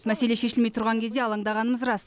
мәселе шешілмей тұрған кезде алаңдағанымыз рас